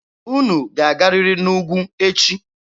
Unu ga-agarịrị n'ugwu echi!